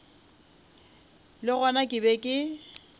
le gona ke be ke